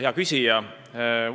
Hea küsija!